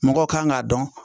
Mɔgɔw kan k'a dɔn